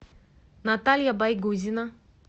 наталья байгузина